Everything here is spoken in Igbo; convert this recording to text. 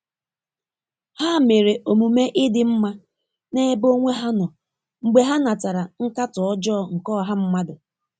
Ha mere omume ịdị mma n'ebe onwe ha nọ mgbe ha natara nkatọ ọjọọ nke ọha mmadụ.